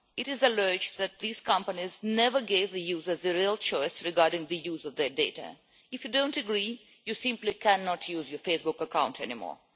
It is alleged that these companies never gave the users the real choice regarding the use of their data. If you don't agree you simply cannot use your Facebook account anymore.